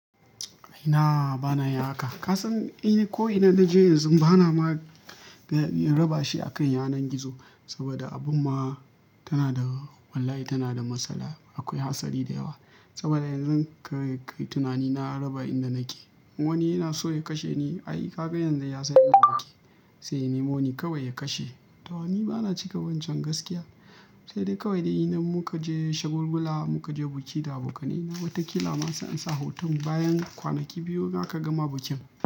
Ina bana yin haka? Ka san ko ina na je yanzu bana ma raba shi a kan yanar gizo saboda abun ma tana da, wallahi tana da matsala. Akwai hatsari da yawa saboda yanzu kai tunani na raba inda nake wani yana so ya kashe ni. Ai kaga yanzu ya san inda nake, sai ya nemoni kawai ya kashe. To ni bana cika wancan gaskiya. Sai dai kawai dai idan muka je shagulgula muka je biki da abokanai na wata kila ma sai an sa hoton bayan kwanaki biyu za kaga ma bukin.